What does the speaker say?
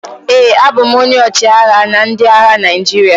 ee, abụ m onye ọchịagha na ndị agha Naijiria